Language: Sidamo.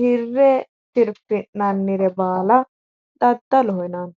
horre tirfi'nannire baala daddaloho yinanni